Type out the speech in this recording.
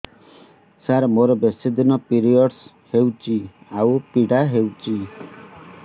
ସାର ମୋର ବେଶୀ ଦିନ ପିରୀଅଡ଼ସ ହଉଚି ଆଉ ପୀଡା ହଉଚି